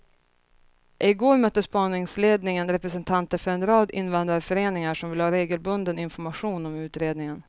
I går mötte spaningsledningen representanter för en rad invandrarföreningar som vill ha regelbunden information om utredningen.